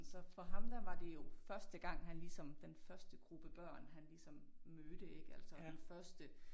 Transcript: Så for ham der var det jo første gang han ligesom den første gruppe børn han ligesom mødte ik altså den første